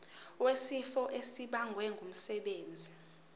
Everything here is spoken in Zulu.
wesifo esibagwe ngumsebenzi